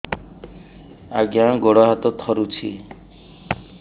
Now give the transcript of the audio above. ଆଜ୍ଞା ଗୋଡ଼ ହାତ ଥରୁଛି